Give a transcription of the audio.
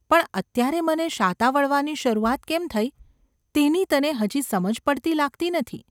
પણ અત્યારે મને શાતા વળવાની શરૂઆત કેમ થઈ તેની તને હજી સમજ પડતી લાગતી, નથી.